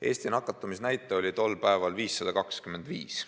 Eesti nakatumisnäitaja oli tol päeval 525.